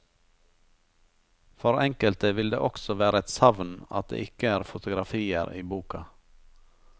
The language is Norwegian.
For enkelte vil det også være et savn at det ikke er fotografier i boka.